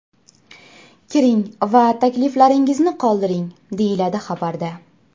Kiring va takliflaringizni qoldiring”, deyiladi xabarda.